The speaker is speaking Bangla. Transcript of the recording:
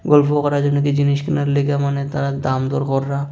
গল্প করার জন্য কি জিনিস কেনার লেগা মনে হয় তারা দামদর কররা।